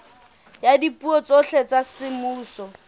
ya dipuo tsohle tsa semmuso